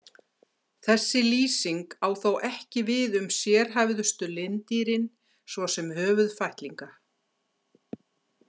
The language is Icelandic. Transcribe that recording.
Þessi lýsing á þó ekki við um sérhæfðustu lindýrin svo sem höfuðfætlinga.